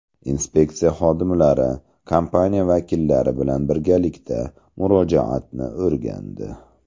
Inspeksiya xodimlari kompaniya vakillari bilan birgalikda murojaatni o‘rgandi.